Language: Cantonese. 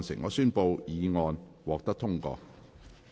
我宣布議案獲得通過。